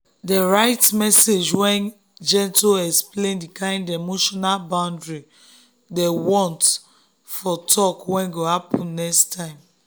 dem write message wey gentle explain the kind emotional boundary dem want for talk wey go happen next time.